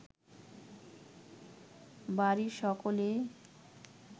বাড়ির সকলেই